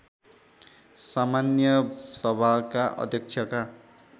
सामान्य सभाका अध्यक्षका